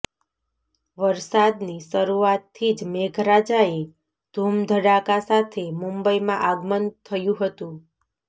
વરસાદની શરૂઆતથી જ મેઘરાજાએ ધુમધડાકા સાથે મુંબઈમાં આગમન થયુ હતુ